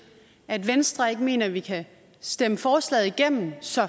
at venstre ikke mener at vi kan stemme forslaget igennem så